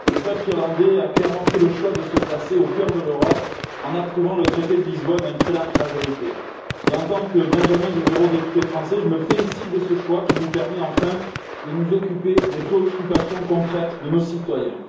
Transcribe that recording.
Monsieur le Président, chers collègues, le peuple irlandais a clairement fait le choix de se placer au cœur de l'Europe en approuvant le traité de Lisbonne à une très large majorité. En tant que benjamin des eurodéputés français, je me félicite de ce choix qui nous permet enfin de nous occuper des préoccupations concrètes de nos citoyens.